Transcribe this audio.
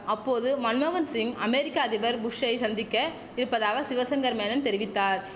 அப்போது மன்மோகன்சிங் அமேரிக்க அதிபர் புஷ்சை சந்திக்க இருப்பதாக சிவசங்கர் மேனன் தெரிவித்தார்